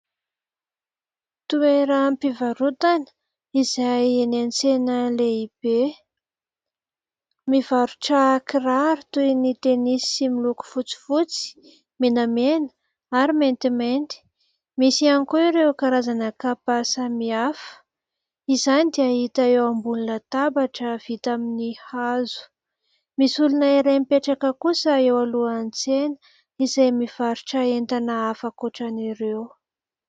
Toeram-pivarotana izay eny an-tsena lehibe mivarotra kiraro toy ny tenisy miloko fotsifotsy , menamena ary maintimainty. Misy ihany koa ireo karazana kapa samihafa . Izany dia hita eo ambonin ny tabatra vita amin'ny hazo .Msy olona iray mipetraka kosa eo alohan' ny tsena izay mivarotra entana hafa akoatran 'ireo .